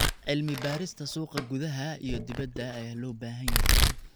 Cilmi-baarista suuqa gudaha iyo dibadda ayaa loo baahan yahay.